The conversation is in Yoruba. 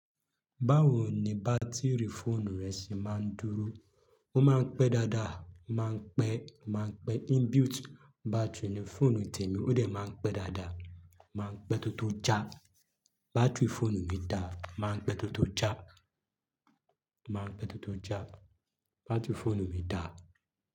Báwo ni bátìrì fóònù rẹ ṣe máa ń dúró? Ó máa ń pẹ́ dáadáa, máa ń pẹ́, máa ń pẹ́. In built battery fóònù tèmi ó dẹ̀ máa ń pẹ́ dáadáa, máa ń pẹ́ tó tó já. Báátìrì fóònù mi dà, máa ń pẹ́ tó tó já, máa ń pẹ́ tó tó já. Báátìrì fóònù mi dà.